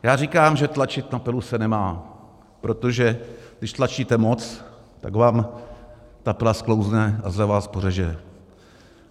Já říkám, že tlačit na pilu se nemá, protože když tlačíte moc, tak vám ta pila sklouzne a zle vás pořeže.